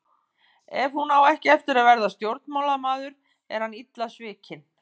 Ef hún á ekki eftir að verða stjórnmálamaður er hann illa svikinn.